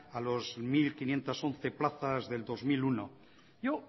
a los mil quinientos once plazas del dos mil uno yo